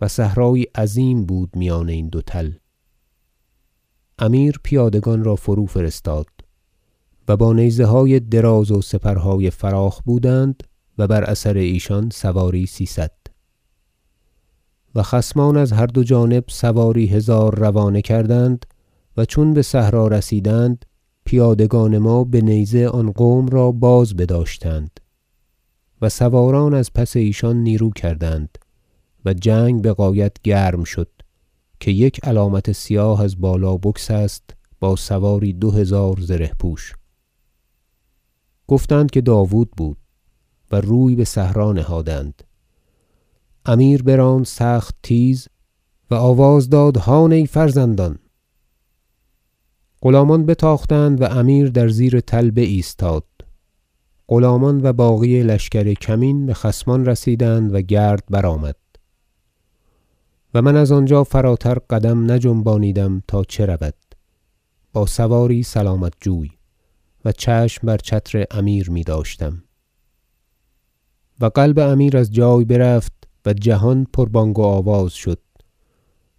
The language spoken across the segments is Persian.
و صحرایی عظیم بود میان این دو تل امیر پیادگان را فروفرستاد و با نیزه های دراز و سپرهای فراخ بودند و بر اثر ایشان سواری سیصد و خصمان از هر دو جانب سواری هزار روانه کردند و چون بصحرا رسیدند پیادگان ما بنیزه آن قوم را باز بداشتند و سواران از پس ایشان نیرو کردند و جنگ بغایت گرم شد که یک علامت سیاه از بالا بگسست با سواری دو هزار زره پوش گفتند که داود بود و روی بصحرا نهادند امیر براند سخت تیز و آواز داد هان ای فرزندان غلامان بتاختند و امیر در زیر تل بایستاد غلامان و باقی لشکر کمین بخصمان رسیدند و گرد برآمد و من از آنجا فراتر قدم نجنبانیدم تا چه رود با سواری سلامت جوی و چشم بر چتر امیر میداشتم و قلب امیر از جای برفت و جهان پر بانگ و آواز شد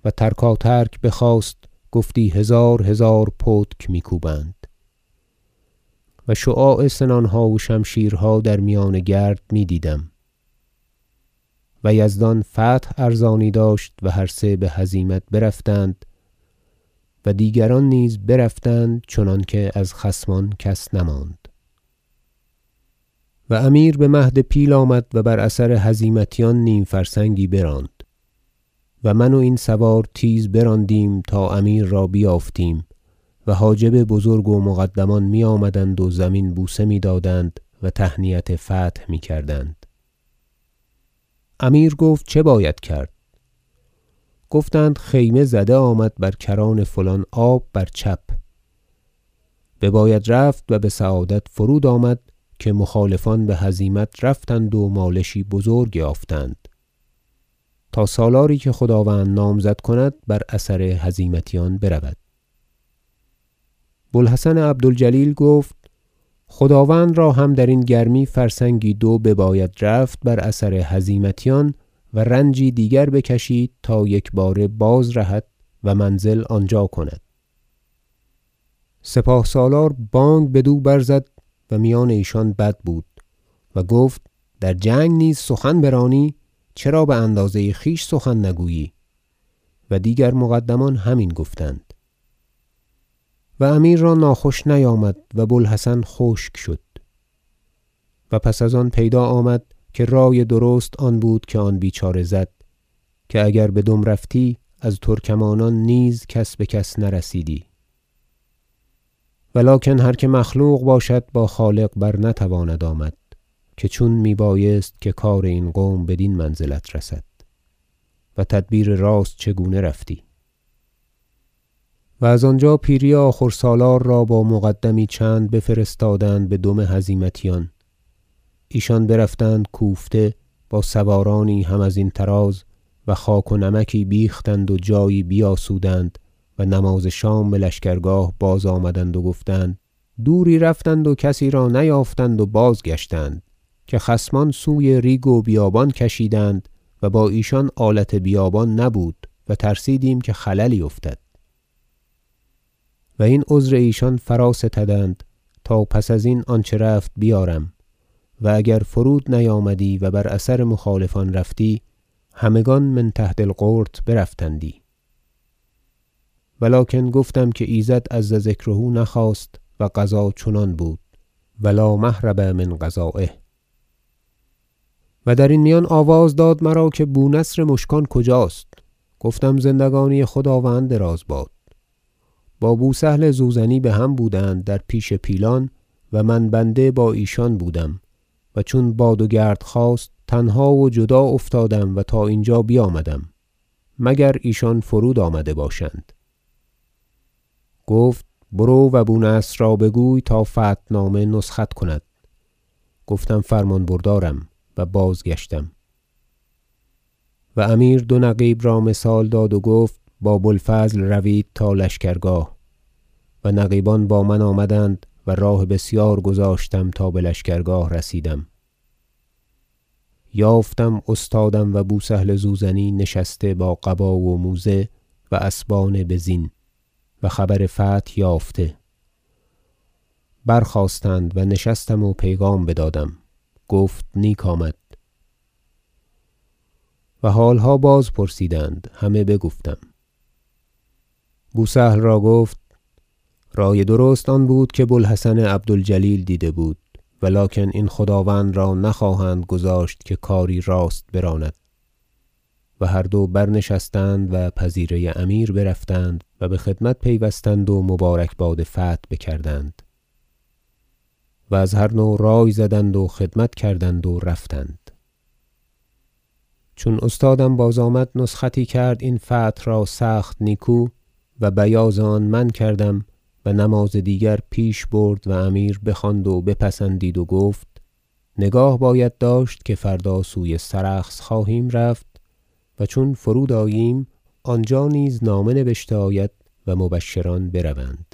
و ترکاترک بخاست گفتی هزار هزار پتک میکوبند و شعاع سنانها و شمشیرها در میان گرد میدیدم و یزدان فتح ارزانی داشت و هر سه بهزیمت برفتند و دیگران نیز برفتند چنانکه از خصمان کس نماند هزیمت سلجوقیان و فرود آمدن امیر و امیر بمهد پیل آمد و بر اثر هزیمتیان نیم فرسنگی براند و من و این سوار نیز براندیم تا امیر را بیافتیم و حاجب بزرگ و مقدمان میآمدند و زمین بوسه میدادند و تهنیت فتح میکردند امیر گفت چه باید کرد گفتند خیمه زده آمد بر کران فلان آب بر چپ بباید رفت و بسعادت فرود آمد که مخالفان بهزیمت رفتند و مالشی بزرگ یافتند تا سالاری که خداوند نامزد کند بر اثر هزیمتیان برود بو الحسن عبد الجلیل گفت خداوند را هم درین گرمی فرسنگی دو بباید رفت بر اثر هزیمتیان و رنجی دیگر بکشید تا یکباره باز رهد و منزل آنجا کند سپاه سالار بانگ بدو برزد- و میان ایشان بد بودی - و گفت در جنگ نیز سخن برانی چرا باندازه خویش سخن نگویی و دیگر مقدمان همین گفتند امیر را ناخوش نیامد و بو الحسن خشک شد - و پس از آن پیدا آمد که رای درست آن بود که آن بیچاره زد که اگر بدم رفتی از ترکمانان نیز کس بکس نرسیدی و لکن هر که مخلوق باشد با خالق بر نتواند آمد که چون میبایست که کار این قوم بدین منزلت رسد و تدبیر راست چگونه رفتی و از آنجا پیری آخور سالار را با مقدمی چند بفرستادند بدم هزیمتیان ایشان برفتند کوفته با سوارانی هم ازین طراز و خاک و نمکی بیختند و جایی بیاسودند و نماز شام بلشکرگاه بازآمدند و گفتند دوری رفتند و کسی را نیافتند و بازگشتند که خصمان سوی ریگ و بیابان کشیدند و با ایشان آلت بیابان نبود و ترسیدیم که خللی افتد و این عذر ایشان فرا ستدند تا پس ازین آنچه رفت بیارم و اگر فرود نیامدی و بر اثر مخالفان رفتی همگان من تحت القرط برفتندی و لکن گفتم که ایزد عز ذکره نخواست و قضا چنان بود و لا مهرب من قضایه و درین میان آواز داد مرا که بو نصر مشکان کجاست گفتم زندگی خداوند دراز باد با بو سهل زوزنی بهم بودند در پیش پیلان و من بنده با ایشان بودم و چون باد و گرد خاست تنها و جدا افتادم و تا اینجا بیامدم مگر ایشان فرود آمده باشند گفت برو و بو نصر را بگوی تا فتحنامه نسخت کند گفتم فرمان بردارم و بازگشتم و و امیر دو نقیب را مثال داد و گفت با بو الفضل روید تا لشکرگاه و نقیبان با من آمدند و راه بسیار گذاشتم تا بلشکرگاه رسیدم یافتم استادم و بو سهل زوزنی نشسته با قبا و موزه و اسبان بزین و خبر فتح یافته برخواستند و نشستم و پیغام بدادم گفت نیک آمد و حالها باز پرسید همه بگفتم بو سهل را گفت رای درست آن بود که بو الحسن عبد الجلیل دیده بود و لکن این خداوند را نخواهند گذاشت که کاری راست براند و هر دو برنشستند و پذیره امیر برفتند و بخدمت پیوستند و مبارکباد فتح بکردند و از هر نوع رای زدند و خدمت کردند و رفتند چون استادم بازآمد نسختی کرد این فتح را سخت نیکو و بیاض آن من کردم و نماز دیگر پیش برد و امیر بخواند و بپسندید و گفت نگاه باید داشت که فردا سوی سرخس خواهیم رفت و چون فرود آییم آنجا نیز نامه نبشته آید و مبشران بروند